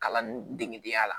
Kalan degeya la